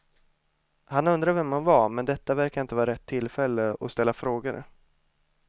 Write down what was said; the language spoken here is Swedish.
Han undrade vem hon var, men detta verkade inte vara rätt tillfälle att ställa frågor.